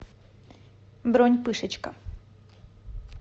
бронь пышечка